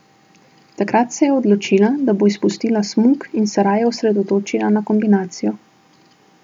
Takrat se je odločila, da bo izpustila smuk in se raje osredotočila na kombinacijo.